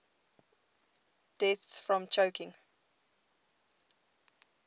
deaths from choking